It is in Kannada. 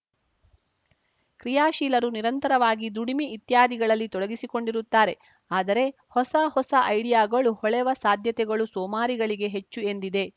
ಕ್ರಿಯಾಶೀಲರು ನಿರಂತರವಾಗಿ ದುಡಿಮೆ ಇತ್ಯಾದಿಗಳಲ್ಲಿ ತೊಡಗಿಸಿಕೊಂಡಿರುತ್ತಾರೆ ಆದರೆ ಹೊಸ ಹೊಸ ಐಡಿಯಾಗಳು ಹೊಳೆವ ಸಾಧ್ಯತೆಗಳು ಸೋಮಾರಿಗಳಿಗೇ ಹೆಚ್ಚು ಎಂದಿದೆ